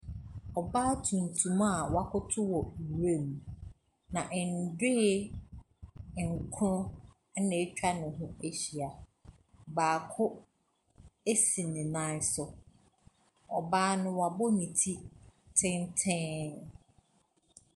Ɔbaa tuntum a wakoto wɔ nwura mu, na ndoe nkron na atwa ne ho ahyia, baako si nan so. Ɔbaa no wabɔ ne ti tenten.